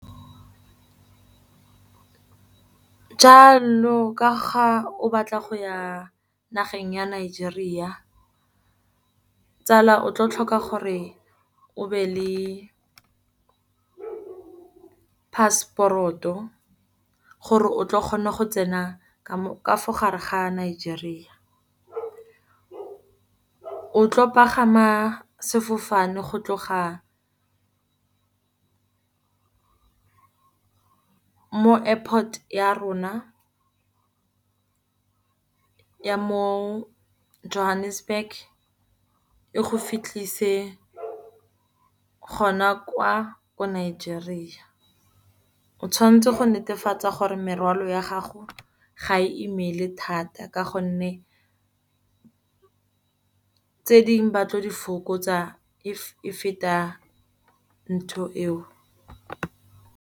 Jaanong ka ga o batla go ya nageng ya Nigeria, tsala o tlo tlhoka gore o be le Passport-o, gore o tla kgona go tsena ka gare ga Nigeria. O tlo pagama sefofane go tloga airport ya rona ya mo Johannesburg e go fitlhise gona kwa ko Nigeria. O tshwanetse go netefatsa gore merwalo ya gago ga e imele thata, ka gonne tse dingwe batlo di fokotsa if e feta ntho eo.